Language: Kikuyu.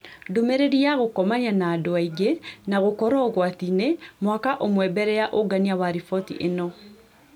Ndũmĩrĩri ya gũkomania na andũ aingĩ na gũkorũo ũgwati-inĩ mwaka ũmwe mbele ya ungania wa riboti ĩno